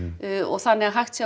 þannig að hægt sé að